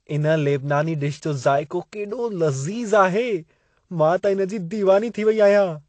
इन लेबनानी डिश जो ज़ाइको केॾो लज़ीज़ आहे। मां त इन जी दीवानी थी वेई आहियां।